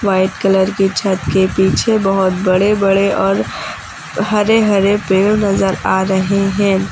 White colour की छत के पीछे बहोत बड़े बड़े और हरे हरे पेड़ नजर आ रहे हैं।